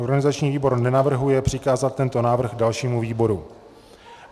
Organizační výbor nenavrhuje přikázat tento návrh dalšímu výboru.